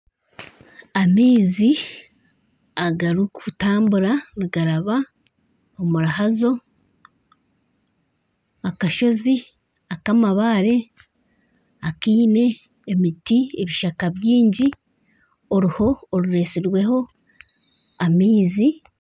Amaizi agarikutambura nigaraba omu ruhazo, akashozi akamabaare akeine emiti ebishaka byingi, oruho oruretsirweho amaizi.